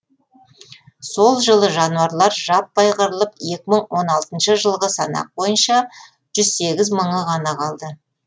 сол жылы жануарлар жаппай қырылып екі мың он алтыншы жылғы санақ бойынша жүз сегіз мыңы ғана қалды